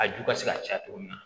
A ju ka se ka caya cogo min na